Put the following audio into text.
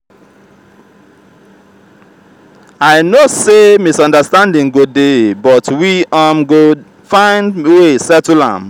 i know sey misunderstanding go dey but we um go find wey settle am.